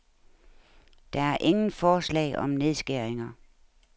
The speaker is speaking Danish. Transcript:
Der er ingen forslag om nedskæringer.